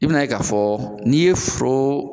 I bi na ye ka fɔ n'i ye foro